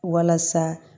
Walasa